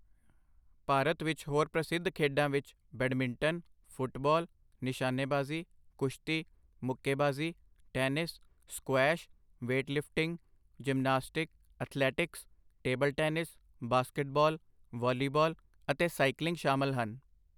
ਭਾਰਤ ਵਿੱਚ ਹੋਰ ਪ੍ਰਸਿੱਧ ਖੇਡਾਂ ਵਿੱਚ ਬੈਡਮਿੰਟਨ, ਫੁੱਟਬਾਲ, ਨਿਸ਼ਾਨੇਬਾਜ਼ੀ, ਕੁਸ਼ਤੀ, ਮੁੱਕੇਬਾਜ਼ੀ, tennis, squash, weightlifting, gymnastic, athletics, table tennis, basketball, volleyball ਅਤੇ ਸਾਈਕਲਿੰਗ ਸ਼ਾਮਲ ਹਨ।